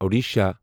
Odisha